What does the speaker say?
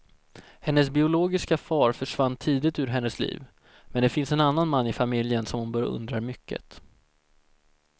Hennes biologiska far försvann tidigt ur hennes liv, men det finns en annan man i familjen som hon beundrar mycket.